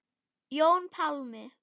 Jón Pálmi.